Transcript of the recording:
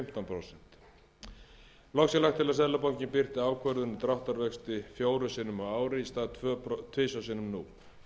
prósent loks er lagt til að seðlabankinn birti ákvörðun um dráttarvexti fjórum sinnum á ári í stað tvisvar sinnum nú